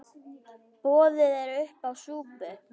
Boðið er uppá súpu.